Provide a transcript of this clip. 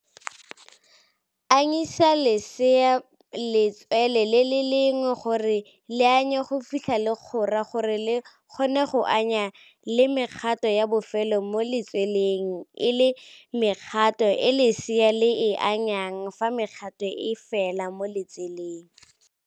Anyisa lesea letswele le le lengwe gore le anye go fitlha le kgora gore le kgone go anya le mekgato ya bofelo mo letsweleng e leng mekgato e lesea le e anyang fa mekgato e fela mo letseleng.